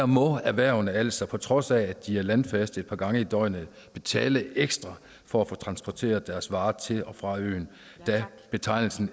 må erhvervene altså på trods af at de er landfaste et par gange i døgnet betale ekstra for at få transporteret deres varer til og fra øen da betegnelsen